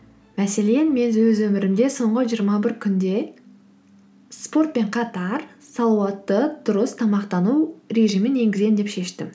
мәселен мен өз өмірімде соңғы жиырма бір күнде спортпен қатар салауатты дұрыс тамақтану режимін енгіземін деп шештім